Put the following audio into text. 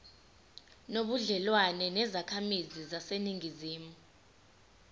nobudlelwane nezakhamizi zaseningizimu